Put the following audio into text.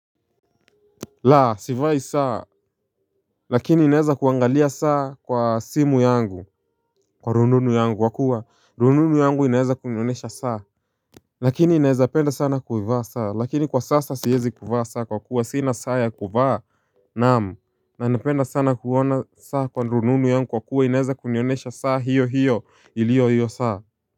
La sivai saa lakini ninaweza kuangalia saa kwa simu yangu, kwa rununu yangu kwa kuwa rununu yangu inaweza kunionyesha saa. Lakini naweza penda sana kuivaa saa lakini kwa sasa siwezi kuvaa saa kwa kuwa sina saa ya kuvaa, naam, na napenda sana kuona saa kwa rununu yangu kwa kuwa inaweza kunionyesha saa hiyo hiyo iliyo hiyo saa.